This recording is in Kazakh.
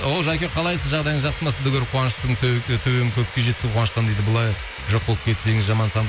оу жәке қалайсыз жағдайыңыз жақсы ма сізді көріп қуаныштың төбем көкке жетті қуаныштан дейді бұлай жоқ болып кетпеңіз